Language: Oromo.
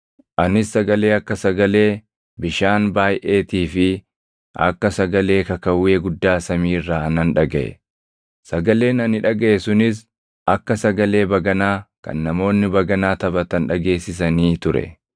Anis sagalee akka sagalee bishaan baayʼeetii fi akka sagalee kakawwee guddaa samii irraa nan dhagaʼe. Sagaleen ani dhagaʼe sunis akka sagalee baganaa kan namoonni baganaa taphatan dhageessisanii ture.